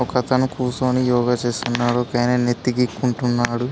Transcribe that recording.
ఒక అతను కూచొని యోగ చేస్తున్నాడు ఒకైనే నెత్తి గీకుంటున్నాడు.